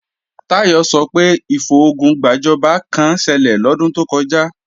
Táyọ̀ sọ pé ìfogun gbàjọba kán ṣẹlẹ̀ lọ́dún tó kọjá